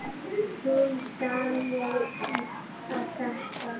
Hún starði á þetta.